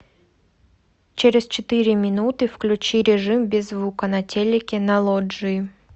через четыре минуты включи режим без звука на телике на лоджии